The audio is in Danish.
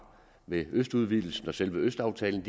ved østudvidelsen og selve østaftalen